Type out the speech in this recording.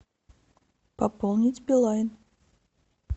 пополнить билайн